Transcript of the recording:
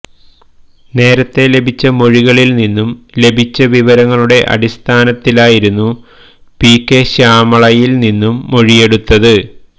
നേരത്തെ ലഭിച്ച മൊഴികളിൽ നിന്നും ലഭിച്ച വിവരങ്ങളുടെ അടിസ്ഥാനത്തിലായിരുന്നു പി കെ ശ്യാമളയിൽ നിന്നും മൊഴിയെടുത്തത്